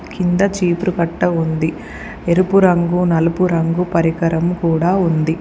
కింద చీపురుకట్ట ఉంది. ఎరుపు రంగు నలుపు రంగు పరికరం కూడా ఉంది.